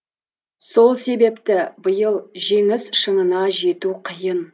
сол себепті биыл жеңіс шыңына жету қиын